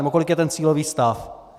Nebo kolik je ten cílový stav?